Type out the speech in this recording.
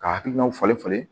Ka hakilinaw falen falen